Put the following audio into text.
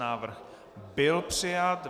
Návrh byl přijat.